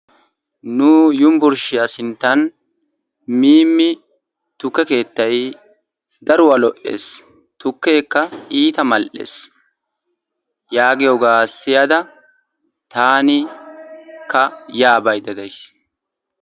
Nu yunbburshshiyaa sinttan Mimi tukke keettay iitta lo'ees, tukkekka iitta mal''ees yaagiyooga siyyaada taana ya baydda days.